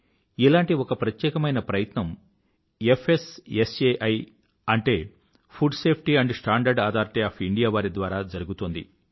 ఇలాంటి ఒక ప్రత్యేకమైన ప్రయత్నం ఫ్స్సాయి అంటే food safety and standard authority of India వారి ద్వారా జరిగుతోంది